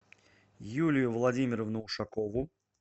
юлию владимировну ушакову